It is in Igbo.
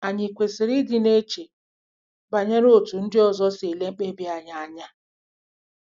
Ànyị kwesịrị ịdị na-eche banyere otú ndị ọzọ si ele mkpebi anyị anya?